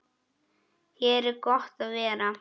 Hér er gott að vera.